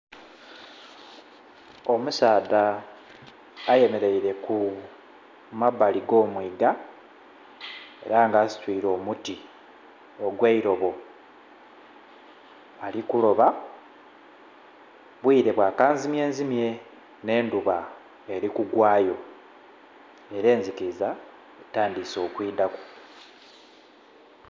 Omusaadha ayemereire ku mabali go mwiiga era nga asitwire omuti ogwe'irobo ali kuloba obwire bwa kanzimye nzimye nhe endhuba eri kugwayo era eziliza etandhise okwidhaku.